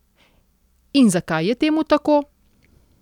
In zakaj je temu tako?